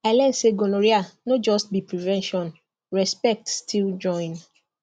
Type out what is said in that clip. i learn say gonorrhea no just be prevention respect still join